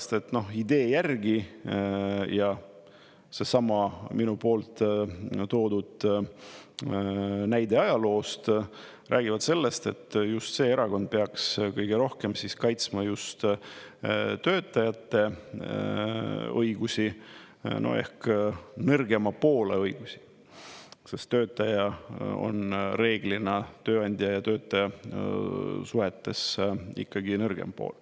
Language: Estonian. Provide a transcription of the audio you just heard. Sellepärast, et idee järgi, ja seesama minu poolt toodud näide ajaloost räägib sellest, et just see erakond peaks kõige rohkem kaitsma just töötajate õigusi ehk nõrgema poole õigusi, sest töötaja on reeglina tööandja ja töötaja suhetes ikkagi nõrgem pool.